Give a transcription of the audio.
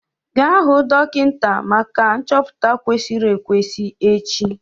Gaa hụ dọkịta maka nchọpụta kwesịrị ekwesị echi!